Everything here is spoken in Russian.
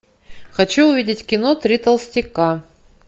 хочу увидеть кино три толстяка